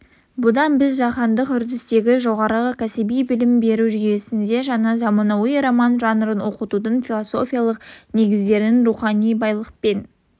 бұдан біз жаһандық үрдістегі жоғары кәсіби білім беру жүйесінде жаңа заманауи роман жанрын оқытудың философиялық негіздерінің рухани байлықпен